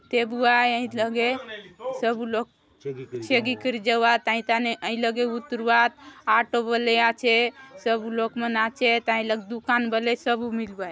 थेबुआय हाय लगे सबु लोग चेगी करि जाऊआत हाई थाने हाई लगे ऊतरुआत ऑटो बले आचे सबु लोक मन आचेत हाय लगे दुकान बले सबु मिलुआय।